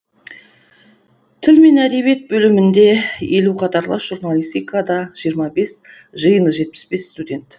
тіл мен әдебиет бөлімінде елу қатарлас журналистикада жиырма бес жиыны жетпіс бес студент